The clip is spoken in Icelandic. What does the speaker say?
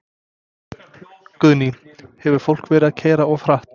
Guðný: Hefur fólk verið að keyra of hratt?